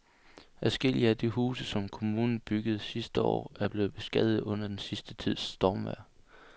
Adskillige af de huse, som kommunen byggede sidste år, er blevet beskadiget under den sidste tids stormvejr.